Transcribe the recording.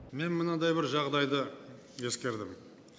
мен мынандай бір жағдайды ескердім